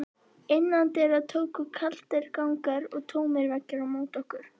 Innandyra tóku kaldir gangar og tómir veggir á móti okkur.